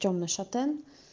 тёмный шатен